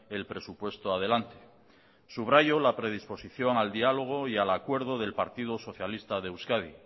el presupuesto adelante subrayo la predisposición al diálogo y al acuerdo del partido socialista de euskadi